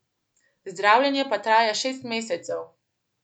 Zdravljenje pa traja šest mesecev.